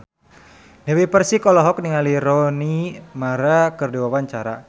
Dewi Persik olohok ningali Rooney Mara keur diwawancara